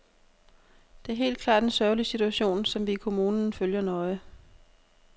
Det er helt klart en sørgelig situation, som vi i kommunen følger nøje.